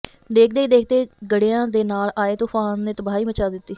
ਦੇਖਦੇ ਹੀ ਦੇਖਦੇ ਗੜ੍ਹਿਆਂ ਦੇ ਨਾਲ ਆਏ ਤੂਫ਼ਾਨ ਨੇ ਤਬਾਹੀ ਮਚਾ ਦਿੱਤੀ